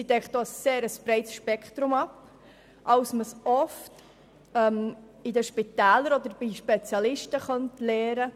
Sie deckt ein breiteres Spektrum ab, als es üblicherweise in Spitälern oder bei Spezialisten gelernt wird.